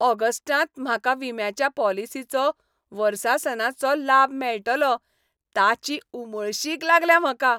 ऑगस्टांत म्हाका विम्याच्या पॉलिसीचो वर्सासनाचो लाब मेळटलो ताची उमळशीक लागल्या म्हाका.